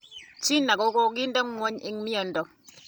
China kokokinda ngwony eng mieindo.